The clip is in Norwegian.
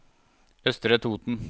Østre Toten